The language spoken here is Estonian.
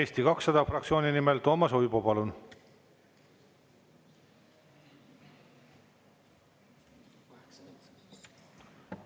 Eesti 200 fraktsiooni nimel Toomas Uibo, palun!